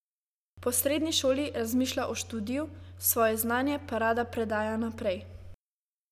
Po srednji šoli razmišlja o študiju, svoje znanje pa rada predaja naprej.